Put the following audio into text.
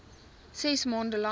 ses maande lank